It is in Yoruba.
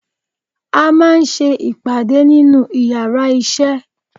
À máà ń sé ìpade nínu íyarà iṣẹ